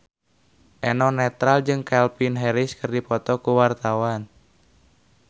Eno Netral jeung Calvin Harris keur dipoto ku wartawan